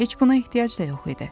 Heç buna ehtiyac da yox idi.